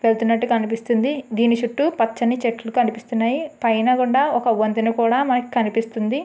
వెళ్తున్నట్టు కనిపిస్తుంది దీని చుట్టూ పచ్చని చెట్లు కనిపిస్తున్నాయి. పైన కూడా ఒక వంతెన కూడా మనకు కనిపిస్తుంది.